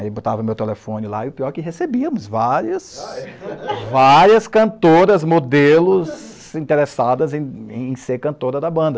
Aí botava meu telefone lá e o pior é que recebíamos várias, ah é, várias cantoras modelos interessadas em ser cantora da banda.